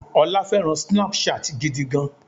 ọ́lá fẹràn Snapchat gidi gan.